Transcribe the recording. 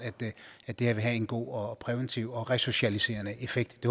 at det her vil have en god og præventiv og resocialiserende effekt